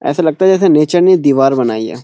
ऐसा लगता है कि जसे नीचे भी दीवार बनाई गई है।